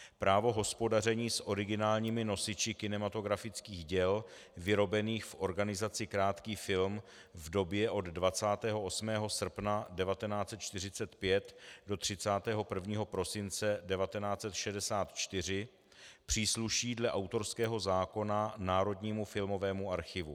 Právo hospodaření s originálními nosiči kinematografických děl vyrobených v organizaci Krátký film v době od 28. srpna 1945 do 31. prosince 1964 přísluší dle autorského zákona Národnímu filmovému archivu.